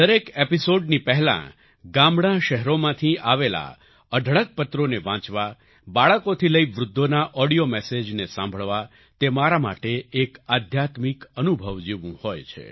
દરેક એપિસોડની પહેલા ગામડાંશહેરોમાંથી આવેલા અઢળક પત્રોને વાંચવા બાળકોથી લઈ વૃદ્ધોના ઓડિયો મેસેજને સાંભળવા તે મારા માટે એક આધ્યાત્મિક અનુભવ જેવું હોય છે